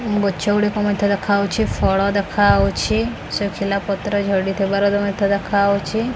ଉ ଗଛ ଗୁଡ଼ିକ ମଧ୍ୟ ଦେଖାହୋଉଛି। ଫଳ ଦେଖାହୋଉଛି ସେ ପିଲା ପତ୍ର ଝଡ଼ିଥିବାର ବି ମଧ୍ୟ ଦେଖାହୋଉଚି।